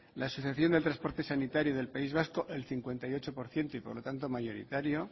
la asociación del transporte sanitario del país vasco el cincuenta y ocho por ciento y por lo tanto mayoritario